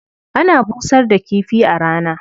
Ana busar da kifi a rana.